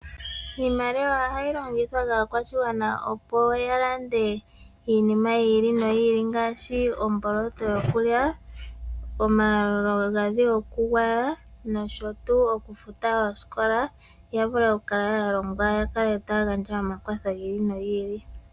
Iimaliwa oha yi longithwa kaakwashigwana opo ya lande iinima yi ili, noyi ili ngaashi omboloto yokulya, omagadhi goku gwaya, nosho tuu oku futa oosikola ya vule oku kala ya longwa ya kale taya gandja omakwatho gi ili nogi ili.